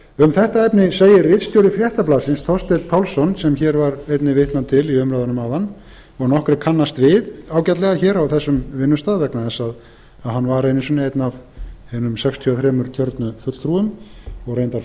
um þetta efni segir ritstjóri fréttablaðsins þorsteinn pálsson sem hér var einnig vitnað til í umræðunum áðan og nokkrir kannast við ágætlega hér á þessum vinnustað vegna þess að hann var einu sinni einn af hinum sextíu og þrjú kjörnu fulltrúum og reyndar